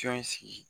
Cɔn sigi